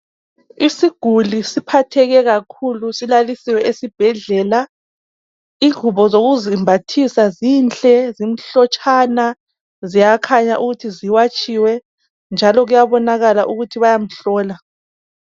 Isiguli siphatheke kakhulu, silalisiwe esibhedlela. Ingubo zokusimbathisa zinhle, zimhlotshana, ziyaboyakhanya ukuthi ziwatshiwe, njalo kuyabaonakala ukuthi bayamhlola.